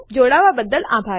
જોડાવા બદ્દલ આભાર